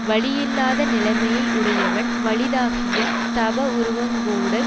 வலியில்லாத நிலைமையை யுடையவன் வலிதாகிய தவவுருவங் கோடல்